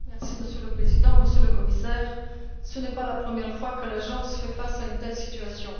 Monsieur le Président, Monsieur le Commissaire, ce n'est pas la première fois que l'agence se trouve face à une telle situation.